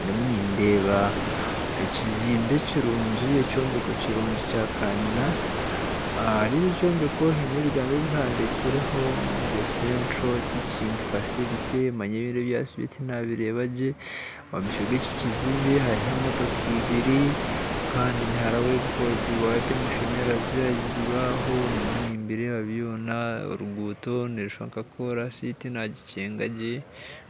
Ndimu nindeeba ekizimbe kirungi ekyombeko kirungi kya kayina ahari ekyo Kyombeko haine ebigambo ebihandiikireho ngu central teaching facility manya biri ebyatsigara tinabireebagye omumaisho g'ekyo kizimbe hariho emotooka ibiiri kandi hariho ebiwaaya by'amashanyarazi ahaiguru aho ndimu nibireeba byoona oruguto nirushuusha nka korasi tinagikyegagye